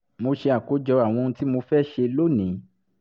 mo ṣe àkójọ àwọn ohun tí mo fẹ́ ṣe lónìí